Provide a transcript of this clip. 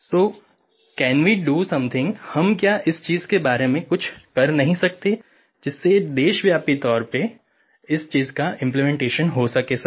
so can we do something हम क्या इस चीज़ के बारे में कुछ कर नहीं सकते जिससे ये देशव्यापी तौर पे इस चीज़ का इम्प्लीमेंटेशन हो सके सर